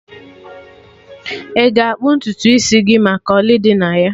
Ị ga-akpụ ntutu isi gị maka ọlị dị na ya?